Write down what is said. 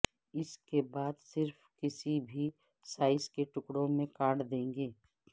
اس کے بعد صرف کسی بھی سائز کے ٹکڑوں میں کاٹ دیں گے